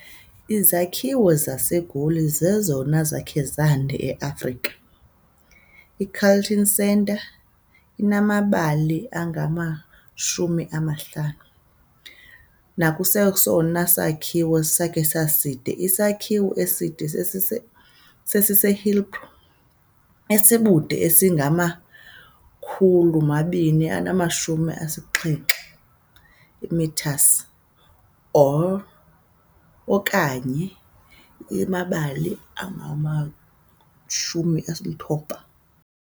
Izakhiwo zaseGoli zezona zakhe zande e-Afrika, i-Carlton Centre, inamabali angama-50, nakwesesona sakhiwo sakhe saside, isakhiwo eside saseHillbrow, esibude bungama-270 metres, or onakye amabali 90.